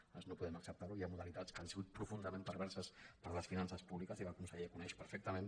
nosaltres no podem acceptar·ho hi ha modalitats que han sigut profundament perverses per a les finances públiques i que el conseller coneix per·fectament